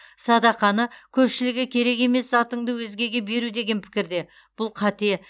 садақаны көпшілігі керек емес затыңды өзгеге беру деген пікірде бұл қате